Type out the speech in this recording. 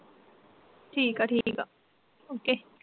ਠੀਕਾ ਠੀਕਾ ਓਕੇ